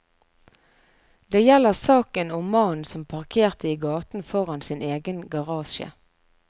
Det gjelder saken om mannen som parkerte i gaten foran sin egen garasje.